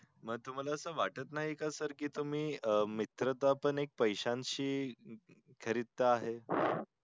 म तुम्हला असं वाट नई का sir कि तुम्ही मित्रा चा पण एक पैशाशी खरिदा आहे